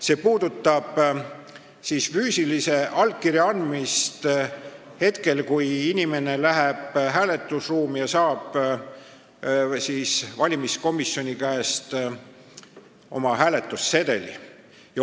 See puudutab allkirja andmist hetkel, kui inimene läheb hääletusruumi ja saab valimiskomisjoni käest hääletussedeli.